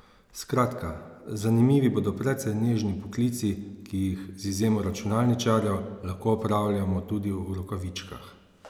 Skratka, zanimivi bodo precej nežni poklici, ki jih, z izjemo računalničarjev, lahko opravljamo tudi v rokavičkah.